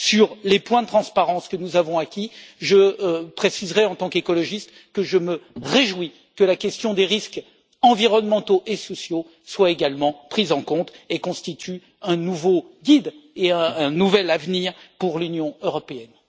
Sur les points de transparence que nous avons acquis, je préciserai, en tant qu'écologiste, que je me réjouis que la question des risques environnementaux et sociaux soit également prise en compte et constitue un nouveau guide et un nouvel avenir pour l'Union européenne.